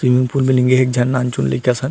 तीन फूल मिलेंगे एक झन नानचुक लइका असन--